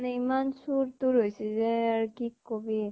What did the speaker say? ইমান চোৰ তোৰ হৈছে যে আৰ, কি কবি ।